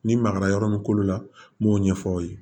Ni magara yɔrɔ min kolo la n b'o ɲɛfɔ aw ye